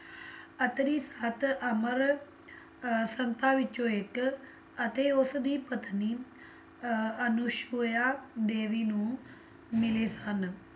ਅਤਰੀ ਸਤ ਅਮਰ ਅਹ ਸੰਤਾਂ ਵਿੱਚੋਂ ਇੱਕ ਅਤੇ ਉਸਦੀ ਪਤਨੀ ਅਹ ਅਨੁਸ਼ ਪੋਇਆ ਦੇਵੀ ਨੂੰ ਮਿਲੇ ਸਨ।